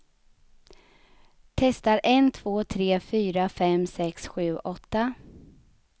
Testar en två tre fyra fem sex sju åtta.